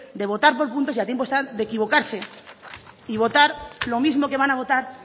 de votar por puntos y a tiempo están de equivocarse y votar lo mismo que van a votar